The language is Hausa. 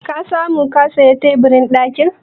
Ka samu ka saya teburin ɗakin?